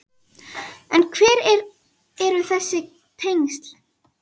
En hver eru þessi tengsl?